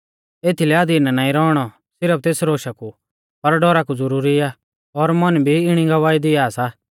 एथीलै अधीन नाईं रौइणौ सिरफ तेस रोशा कु पर डौरा कु ज़ुरुरी आ और मन भी इणी गवाही दिया सा